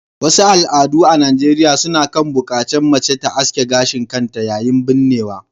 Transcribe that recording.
Wasu al’adu a Najeriya suna kan bukaci mace ta aske gashin kanta yayin binnewa